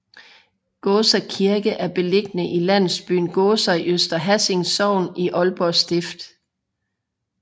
Gåser Kirke er beliggende i landsbyen Gåser i Øster Hassing Sogn i Aalborg Stift